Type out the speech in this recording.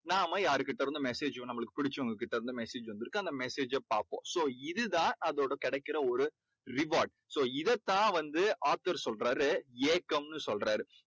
நாம யாருக்கிட்டருந்தும் message நம்மளுக்கு பிடிச்சவங்க கிட்டேருந்து message வந்துருக்கு. அந்த message அ பார்ப்போம். so இது தான் அதோட கிடைக்கற ஒரு reward so இதைத்தான் வந்து author சொல்றாரு ஏக்கம்னு சொல்றாரு.